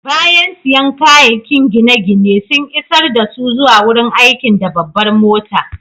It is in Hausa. Bayan siyan kayakin gine-ginen, sun isar dasu zuwa wurin aikin da babbar mota.